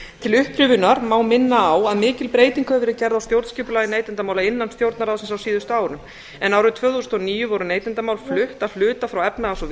til upprifjunar má minna á að mikil breyting hefur verið gerð á stjórnskipulagi neytendamála innan stjórnarráðsins á síðustu árum en árið tvö þúsund og níu voru neytendamál flutt að hluta frá efnahags og